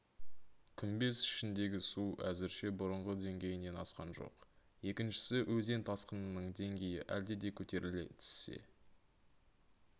күмбез ішіндегі су әзірше бұрынғы деңгейінен асқан жоқ екіншісі өзен тасқынының деңгейі әлде де көтеріле түссе